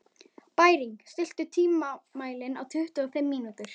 Bæring, stilltu tímamælinn á tuttugu og fimm mínútur.